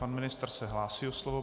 Pan ministr se hlásí o slovo.